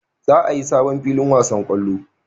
Za a yi sabon filin wasan kwallo